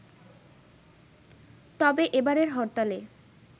তবে এবারের হরতালে